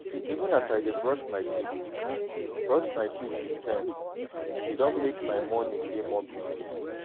even as i dey brush my teeth brush my teeth with sense e don mek my morning dey more peaceful.